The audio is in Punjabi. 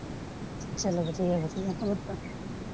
ਚੱਲੋ ਵਧੀਆ ਵਧੀਆ ਹੋਰ ਸੁਣਾ।